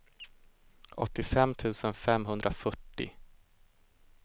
åttiofem tusen femhundrafyrtio